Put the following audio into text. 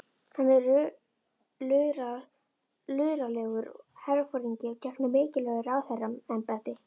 Hann er luralegur herforingi og gegnir mikilvægu ráðherraembætti.